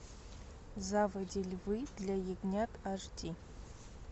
заводи львы для ягнят аш ди